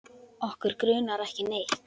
Okkur grunar ekki neitt.